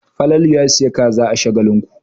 Falalu ya sayi kaza a Shagalinku.